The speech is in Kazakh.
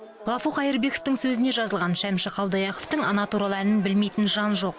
ғафу қайырбековтің сөзіне жазылған шәмші қалдаяқовтың ана туралы әнін білмейтін жан жоқ